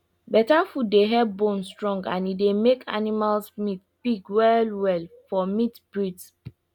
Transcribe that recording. better food dey help bone strong and e dey make animals meat big well well for meat breeds